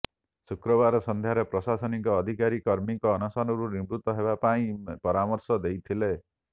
ଶୁକ୍ରବାର ସନ୍ଧ୍ୟାରେ ପ୍ରଶାସନିକ ଅଧିକାରୀ କର୍ମୀଙ୍କୁ ଅନଶନରୁ ନିବୃତ ହେବା ପାଇଁ ପରାମର୍ଶ ଦେଇଥିଲେ